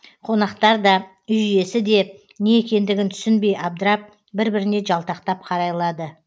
қонақтар да үй иесі де не екендігін түсінбей абдырап бір біріне жалтақтап қарайлады